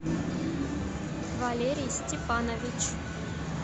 валерий степанович